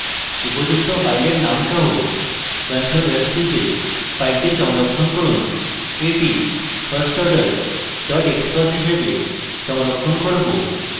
উপযুক্ত file name সহ control s টিপে file সংরক্ষণ করুন এটি firstorder xcos হিসাবে সংরক্ষণ করব